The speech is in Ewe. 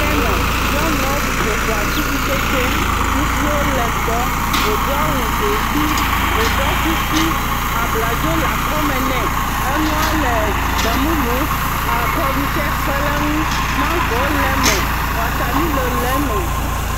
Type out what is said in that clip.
…nyɔnuɔ ƒo ƒu atikutsetse, kusiwo le gbɔ, wodo awu dzomfi, woɖɔ kuku, abladzo le akɔme nɛ, enuɔ le gbemumu, kɔɖu tsɛ kpe ɖe ŋu, mangowo le me, watamilo le me.